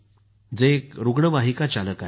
हे एक रुग्णवाहिका चालक आहेत